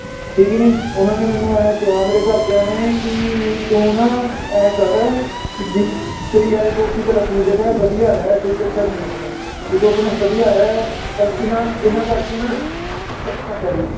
ਠੀਕ ਨੀ ਉਹਨਾਂ ਨੇ ਮੈਨੂੰ ਇਹ ਕਿਹਾ ਮੇਰੇ ਘਰਦਿਆਂ ਨੇ ਕਿ ਵੀ ਤੂੰ ਨਾ ਇਉਂ ਕਰ ਵੀ ਜਿਥੇ ਯਾਰੀ ਦੋਸਤੀ ਚੱਲ ਆਪਣੀ ਜਗਾਹ ਏ ਵਧੀਆ ਰਹਿ ਕੋਈ ਚੱਕਰ ਨੀ ਏ ਮੈਨੂੰ, ਵੀ ਤੂੰ ਆਪਣਾ ਵਧੀਆ ਰਹਿ ਬੱਸ ਇਹਨਾਂ ਇਹਨਾਂ ਕਰਕੇ ਨਾ